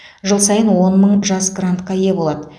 жыл сайын он мың жас грантқа ие болады